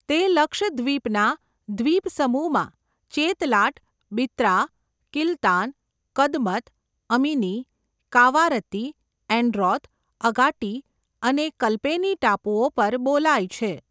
તે લક્ષદ્વીપના દ્વીપસમૂહમાં ચેતલાટ, બિત્રા, કિલતાન, કદમત, અમિની, કાવારત્તી, એન્ડ્રોથ, અગાટ્ટી અને કલ્પેની ટાપુઓ પર બોલાય છે.